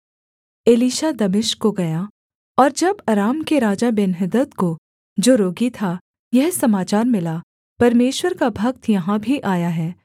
Elisha दमिश्क को गया और जब अराम के राजा बेन्हदद को जो रोगी था यह समाचार मिला परमेश्वर का भक्त यहाँ भी आया है